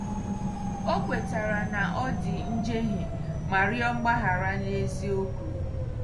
O kwetara na ọ dị njehie ma rịọ mgbaghara n'eziokwu.